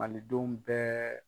Malidenw bɛɛ